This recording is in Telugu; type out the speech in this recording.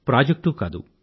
ప్రాజెక్టూ కాదు